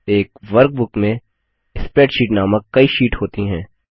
एक वर्कबुक में स्प्रैडशीट नामक कई शीट होती हैं